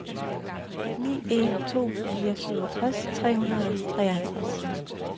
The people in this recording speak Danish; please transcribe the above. ni en to fire syvogtres tre hundrede og treoghalvtreds